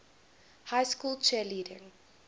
high school cheerleading